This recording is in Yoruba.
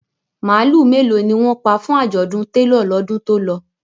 Màálù mélòó ni wọ́n pa fún àjọ̀dún télọ̀ lọ́dún tó lọ?